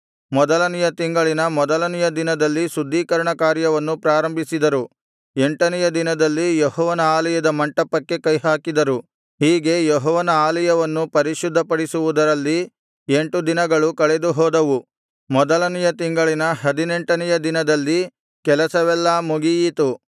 ಮೊದಲನೆಯ ತಿಂಗಳಿನ ಮೊದಲನೆಯ ದಿನದಲ್ಲಿ ಶುದ್ಧೀಕರಣ ಕಾರ್ಯವನ್ನು ಪ್ರಾರಂಭಿಸಿದರು ಎಂಟನೆಯ ದಿನದಲ್ಲಿ ಯೆಹೋವನ ಆಲಯದ ಮಂಟಪಕ್ಕೆ ಕೈಹಾಕಿದರು ಹೀಗೆ ಯೆಹೋವನ ಆಲಯವನ್ನು ಪರಿಶುದ್ಧಪಡಿಸುವುದರಲ್ಲಿ ಎಂಟು ದಿನಗಳು ಕಳೆದು ಹೋದವು ಮೊದಲನೆಯ ತಿಂಗಳಿನ ಹದಿನಾರನೆಯ ದಿನದಲ್ಲಿ ಕೆಲಸವೆಲ್ಲಾ ಮುಗಿಯಿತು